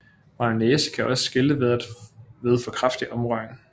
Mayonnaise kan også skille ved for kraftig omrøring